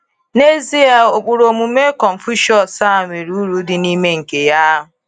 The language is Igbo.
Nezie, ụkpụrụ omume Confucius a nwere uru dị mma nke ya.